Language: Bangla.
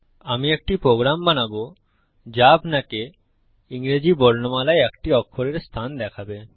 আমি একটি প্রোগ্রাম বানাবো যা আপনাকে ইংরেজী বর্ণমালায় একটি অক্ষরের অবস্থান দেখাবে